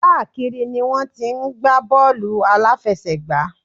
Káàkiri ni wọ́n ti ń gbá bọ́ọ̀lù àláfẹsẹ̀gbá.